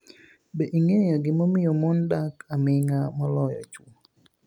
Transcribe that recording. Be inig'eyo gimomiyo moni dak aminig'a moloyo chwo?